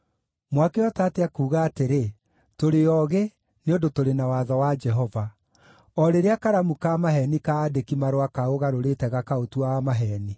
“ ‘Mwakĩhota atĩa kuuga atĩrĩ, “Tũrĩ oogĩ, nĩ ũndũ tũrĩ na watho wa Jehova,” o rĩrĩa karamu ka maheeni ka aandĩki-marũa kaũgarũrĩte gakaũtua wa maheeni?